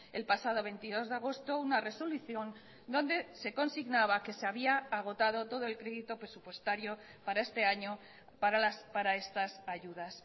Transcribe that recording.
el pasado veintidós de agosto una resolución donde se consignaba que se había agotado todo el crédito presupuestario para este año para estas ayudas